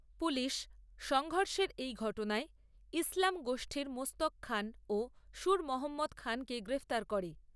Police, সংঘর্ষের এই ঘটনায় ইসলাম গোষ্ঠীর মোস্তাক খান ও সুর মহম্মদ খানকে গ্রেফতার করে।